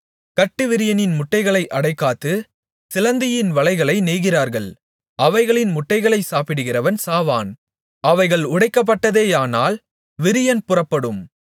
கட்டுவிரியனின் முட்டைகளை அடைகாத்து சிலந்தியின் வலைகளை நெய்கிறார்கள் அவைகளின் முட்டைகளைச் சாப்பிடுகிறவன் சாவான் அவைகள் உடைக்கப்பட்டதேயானால் விரியன் புறப்படும்